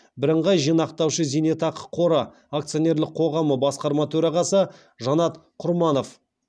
бірыңғай жинақтаушы зейнетақы қоры акционерлік қоғамы басқарма төрағасы жанат құрманов